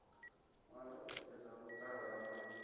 ṅwala u xedza vhuṱala na